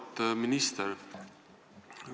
Auväärt minister!